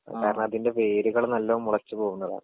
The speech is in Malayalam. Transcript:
കാരണം അതിന്റെ വേരുകള് നല്ലോം മുളച്ച് പോകുന്നതാണ്.